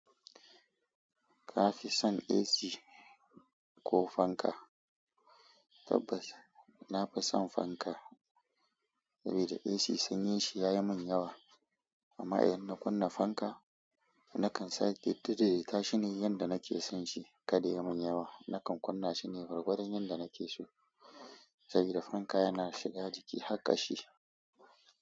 Ka fi son AC ko fanka? Tabbas na fi son fanka saboda AC sanyin shi yayi min yawa. Amma idan na kunna fanka, nakan sa yadda dai tashi ni yanda nake son shi. Kada yayi min yawa. Nakan kunna shi ne gwargwadon yanda nake so saboda fanka yana shiga jiki har kashi.